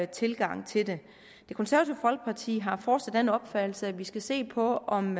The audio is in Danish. tilgang til det det konservative folkeparti har fortsat den opfattelse at vi skal se på om